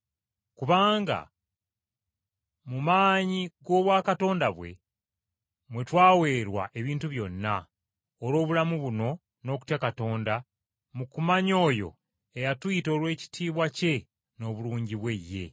Kubanga mu maanyi g’obwakatonda bwe, mwe twaweerwa ebintu byonna olw’obulamu buno n’okutya Katonda mu kumanya oyo eyatuyita olw’ekitiibwa kye n’obulungi bwe ye.